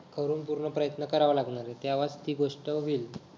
ठरून प्रयत्न करायला लागणारय तेव्हा ती गोष्ट होईल